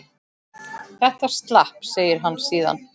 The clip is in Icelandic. Þetta slapp, segir hann síðan.